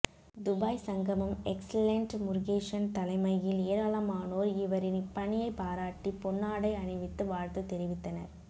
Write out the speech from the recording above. Dubai Sangamam excellent Murugesan தலைமையில் ஏராளாமானோர் இவரின் இப்பணியை பாராட்டி பொன்னாடை அணிவித்து வாழ்த்து தெரிவித்தனர்